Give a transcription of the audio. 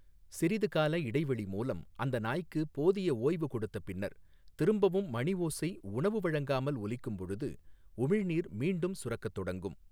சிறிதுகால இடைவெளி மூலம் அந்த நாய்க்கு போதிய ஓய்வு கொடுத்த பின்னர் திரும்பவும் மணிஓசை உணவு வழங்காமல் ஒலிக்கும்பொழுது உமிழ்நீர் மீண்டும் சுரக்கத் தொடங்கும்.